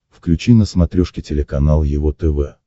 включи на смотрешке телеканал его тв